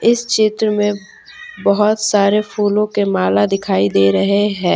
इस क्षेत्र में बहुत सारे फूलों के माला दिखाई दे रहे हैं।